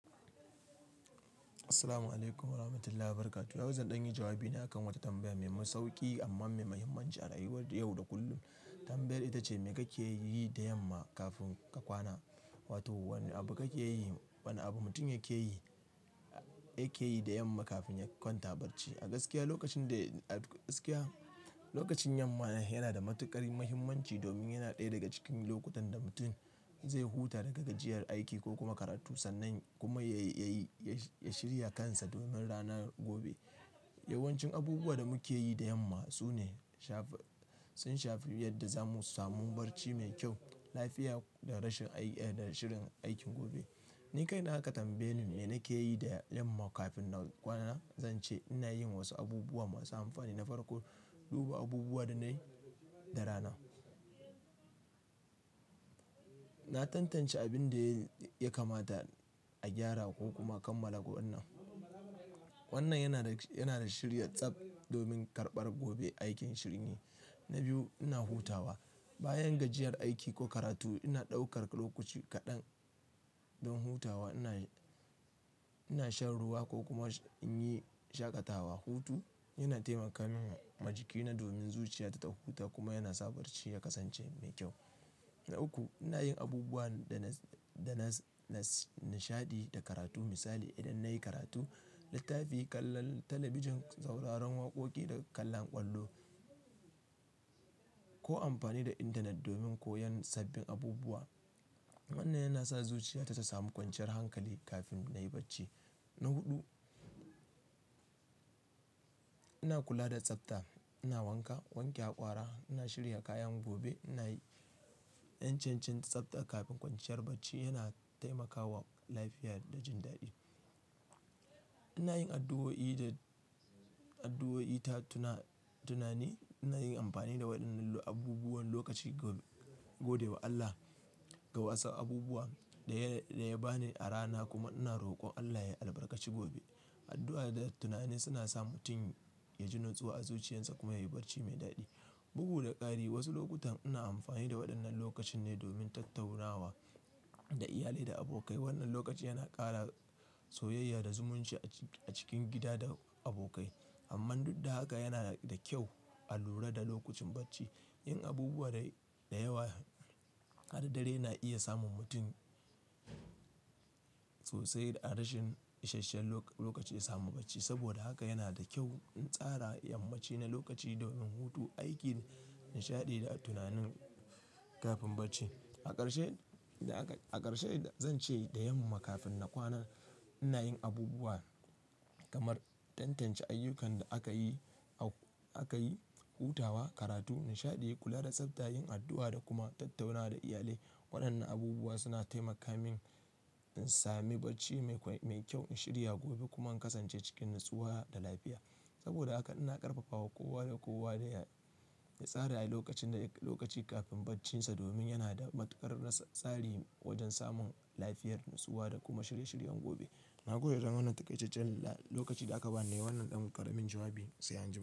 Assalamu'alaikum warahmatullahi wabarakatuh. Yanzu zan ɗanyi jawabi na kan wata tambaya mai sauƙi amma mai muhimmanci a rayuwar yau da kullum. Tambayar ita ce, me kake yi da yamma kafin ka kwana? Wato wane abu kake yi, wane abu mutum yake yi, yake yi da yamma kafin ya kwanta barci? A gaskiya lokacin da, a gaskiya lokacin yamma yana da matuƙar muhimmanci domin yana ɗaya daga cikin lokutan da mutum zai huta daga gajiyar aiki ko kuma karatu sannan kuma ya yi, ya shirya kansa domin ranar gobe. Yawancin abubuwa da muke yi da yamma su ne shafi, sun shafi yadda zamu samu barci mai kyau, lafiya da rashin aiki, da shirin aikin gobe. Ni kai na ka tambaye ni mai nake yi da yamma kafin na kwana. Zan ce ina yin wasu abubuwa masu amfani na farkon duba abubuwa da na yi da rana. Na tantance abin da ya kamata a gyara ko kuma kammala gobe. Wannan yana da, yana da shirya tsab domin karɓar gobe aikin shirni. Na biyu, ina hutawa. Bayan gajiyar aiki ko karatu ina ɗaukar lokaci kaɗan don hutawa. Ina, ina shan ruwa ko kuma in yi shaƙatawa. Hutu yana taimaka min jikina domin zuciya ta ta huta kuma yana sa barci ya kasance mai kyau. Na uku, ina yin abubuwan da na, da na nishaɗi da karatu. Misali, idan na yi karatu, littafi, kalla talabijin, sauraron waƙoƙi da kallon ƙwallo ko amfani da intanet domin koyon sabbin abubuwa. Wannan yana sa zuciya ta samu kwanciyar hankali kafin na yi barci. Na huɗu, ina kula da tsabta. Ina wanka, wanke haƙora, ina shirya kayan gobe, ina yin cancancin tsabta kafin kwanciyar barci yana taimakawa lafiya da jin daɗi. Ina yin addu'o'i da addu'o'i, ta tuna tunani. Ina yin amfani da waɗannan abubuwan lokaci gobe, gode wa Allah ga wasu abubuwa da ya bani a rana kuma ina rokon Allah ya albarkaci gobe. Addu'a da tunani suna sa mutum ya ji natsuwa a zuciyarsa kuma yayi barci mai daɗi. Bugu da ƙari wasu lokutan ina amfani da waɗannan lokacin ne domin tattaunawa da iyali da abokai. Wannan lokaci yana ƙara soyayya da zumunci a cikin gida da abokai. Amman duk da haka yana da kyau a lura da lokacin barci. Yin abubuwa da yawa har dare na iya samun mutum sosai a rashin isasshen lokaci ya samu barci. Saboda haka yana da kyau in tsara yammacin na lokaci domin hutu, aiki, nishaɗi da tunani kafin barci. A ƙarshe, a ƙarshe zan ce da yamma kafin na kwana ina yin abubuwa kamar tantance ayyukan da aka yi, aka yi, hutawa, karatu, nishaɗi, kula da tsabta, yin addu'a da kuma tattaunawa da iyali. Waɗannan abubuwa suna taimaka min in sami barci mai kyau, in shirya gobe kuma in kasance cikin natsuwa da lafiya. Saboda haka ina ƙarfafawa kowa da kowa ya tsara lokacin da, lokaci kafin barcinsa domin yana da matuƙar nasari wajen samun lafiyar natsuwa da kuma shirye-shiryen gobe. Na gode don wannan taƙaicecen lokacin da aka ba ni. Wannan ɗan ƙaramin jawabi sai an jima.